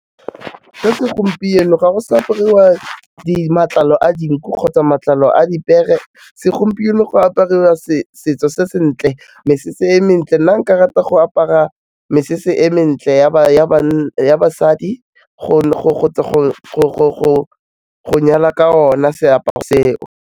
Ka segompieno ga go sa apariwa matlalo a dinku kgotsa matlalo a dipeere, segompieno go apariwa setso se se ntle, mesese e mentle, nna nka rata go apara mesese e mentle ya basadi go nyala ka o na seaparo seo.